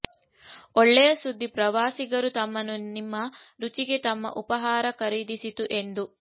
ಒಳ್ಳೆಯ ಸುದ್ದಿ ಪ್ರವಾಸಿಗರು ತಮ್ಮನ್ನು ನಿಮ್ಮ ರುಚಿಗೆ ತಮ್ಮ ಉಪಹಾರ ಖರೀದಿಸಿತು ಎಂದು